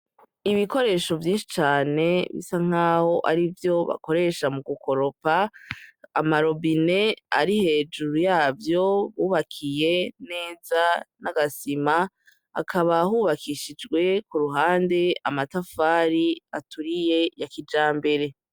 Ibikoresho vyinshi cane bisa nk'aho arivyo bakoresha gukoropa, amarobine ari hejuru yavyo yubakiye neza n'agasima, hakaba hubakishijwe kur'uhande amatafari aturiye ya kijambere